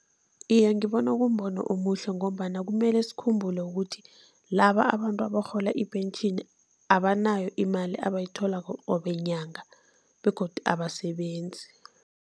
Iye, ngibona kumbono omuhle ngombana kumele sikhumbule ukuthi laba abantu abarhola ipentjheni, abanayo imali abayitholako qobe nyanga begodu abasebenzi.